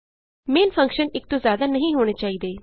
main function ਇਕ ਤੋਂ ਜਿਆਦਾ ਨਹੀਂ ਹੋਣੇ ਚਾਹੀਦੇ